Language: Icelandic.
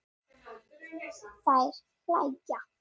Þær hlæja.